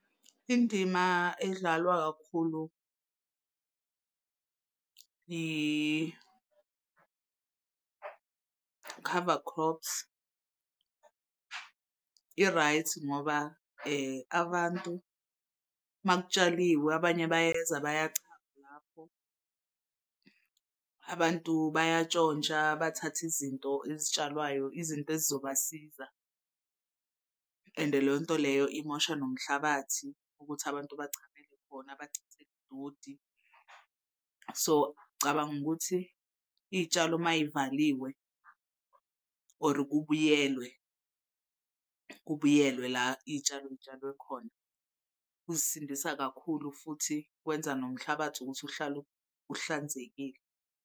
Indima edlalwa kakhulu i-cover crops i-right ngoba abantu uma kutshaliwe abanye bayeza bayachama lapho abantu bayantshontsha bathatha izinto ezitshalwayo, izinto ezizobasiza. Ende leyo nto leyo imosha nomhlabathi ukuthi abantu bachamele kuwona bachithele udodi. So cabanga ukuthi iy'tshalo uma yivaliwe or kubuyelwe kubuyelwe la iy'tshalo yitshalwe khona kuzisindisa kakhulu futhi kwenza nomhlabathi ukuthi uhlale uhlanzekile.